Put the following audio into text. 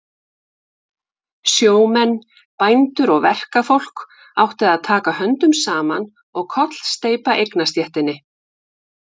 Sjómenn, bændur og verkafólk áttu að taka höndum saman og kollsteypa eignastéttinni.